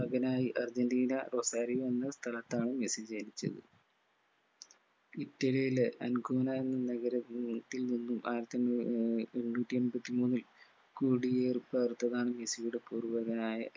മകനായി Argentina Rosario എന്ന സ്ഥലത്താണ് മെസ്സി ജനിച്ചത് ഇറ്റലിയിലെ അംഗൂന എന്ന നഗരത്തിൽ നിന്ന് നൂറ്റിമൂന്ന് ആയിരത്തിമൂന്ന് ഏർ മുന്നൂറ്റി എമ്പത്തി മൂന്നിൽ കുടിയേറി പാർത്തതാണ് മെസ്സിയുടെ പൂർവികനായ